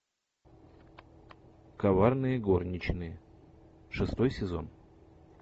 коварные горничные шестой сезон